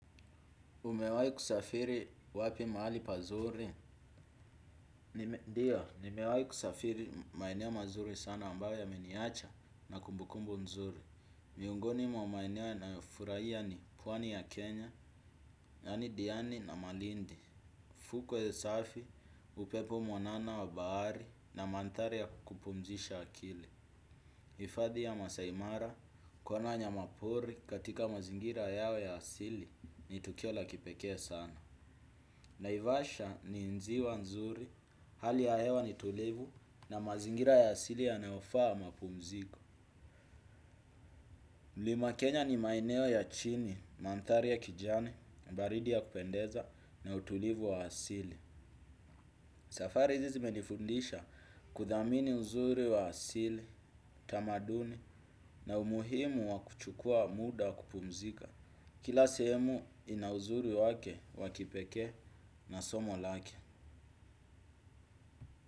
Umewahi kusafiri wapi mahali pazuri? Ndiyo, nimewahi kusafiri maeneo mazuri sana ambayo yameniacha na kumbukumbu nzuri. Miongoni mwa maeneo yanayofurahia ni pwani ya Kenya, yaani diani na malindi. Fukwe safi, upepo mwanana wa bahari na mandhari ya kupumzisha akili. Hifadhi ya maasai mara, kuona wanyama pori katika mazingira yao ya asili ni tukio la kipekee sana. Naivasha ni ziwa nzuri, hali ya hewa ni tulivu na mazingira ya asili yanayofaa mapumziko. Mlima Kenya ni maeneo ya chini, mandhari ya kijani, baridi ya kupendeza na utulivu wa asili. Safari hizi zimenifundisha kuthamini uzuri wa asili, tamaduni na umuhimu wa kuchukua muda kupumzika. Kila sehemu ina uzuri wake wa kipekee na somo lake.